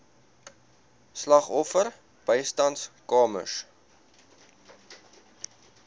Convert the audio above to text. slagoffer bystandskamers